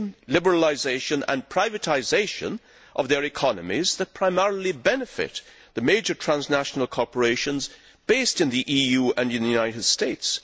liberalisation and privatisation of their economies that primarily benefit the major transnational corporations based in the EU and the United States.